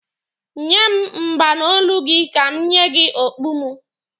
Nye m mgba n'olu gị ka m nye gị okpu mụ.